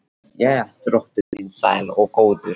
Jæja, drottinn minn sæll og góður.